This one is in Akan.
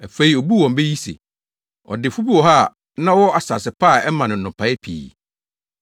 Afei obuu wɔn bɛ yi se, “Ɔdefo bi wɔ hɔ a na ɔwɔ asase pa a ɛmaa no nnɔbae pii.